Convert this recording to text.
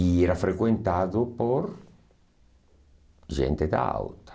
E era frequentado por gente da alta.